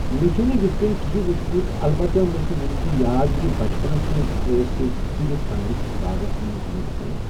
مےٚ چھُنہٕ یُتھ کِہیٖنۍ وٕچھمُت البتہ مےٚ چھُ وٕنہِ تہِ یاد کہِ بَچپَنَس منٛز أسۍ ٲسۍ بِہِتَھ پنٛنِس باغَس نٮ۪برٕکنہِ